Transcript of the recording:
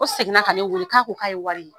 O segin na ka ne weele k'a ko k'a ye wari ye.